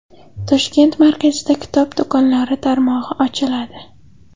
Toshkent markazida kitob do‘konlari tarmog‘i ochiladi.